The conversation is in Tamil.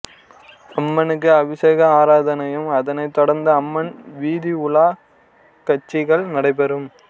அம்மனுக்கு அபிசேக ஆராதனையும் அதனை தொடர்ந்து அம்மன் வீதிஉலா கட்சிகள் நடைபெறும்